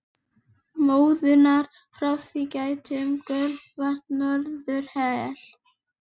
Móðunnar frá því gætti um gjörvallt norðurhvel.